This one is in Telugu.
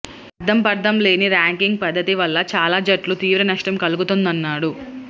అర్థం పర్థంలేని ర్యాంకింగ్స్ పద్ధతి వల్ల చాలా జట్లకు తీవ్ర నష్టం కలుగుతోందన్నాడు